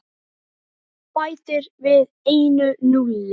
Þú bætir við einu núlli.